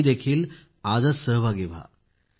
तुम्हीही आजच सहभागी व्हा